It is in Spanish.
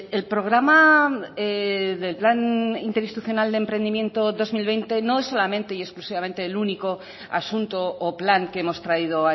el programa del plan interinstitucional de emprendimiento dos mil veinte no es solamente y exclusivamente el único asunto o plan que hemos traído